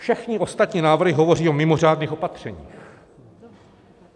Všechny ostatní návrhy hovoří o mimořádných opatřeních.